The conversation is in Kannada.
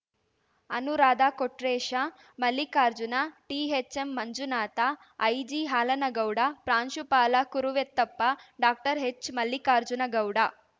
ಅನುರಾಧ ಕೊಟ್ರೇಶ ಮಲ್ಲಿಕಾರ್ಜುನ ಟಿಎಚ್‌ಎಂ ಮಂಜುನಾಥ ಐಜಿಹಾಲನಗೌಡ ಪ್ರಾಂಶುಪಾಲ ಕುರುವೆತ್ತೆಪ್ಪ ಡಾಕ್ಟರ್ ಹೆಚ್‌ಮಲ್ಲಿಕಾರ್ಜುನಗೌಡ